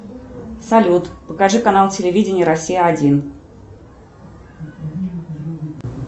салют покажи канал телевидение россия один